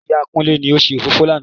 Ìyá Kúnlé ni ó ṣe òfófó lánà